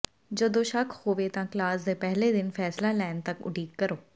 ਜਦੋਂ ਸ਼ੱਕ ਹੋਵੇ ਤਾਂ ਕਲਾਸ ਦੇ ਪਹਿਲੇ ਦਿਨ ਫੈਸਲਾ ਲੈਣ ਤਕ ਉਡੀਕ ਕਰੋ